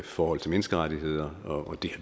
forhold til menneskerettigheder og det